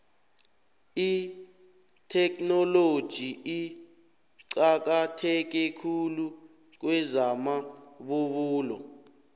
itheknoloji iqakatheke khulu kwezamabubulo